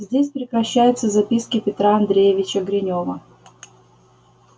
здесь прекращаются записки петра андреевича гринёва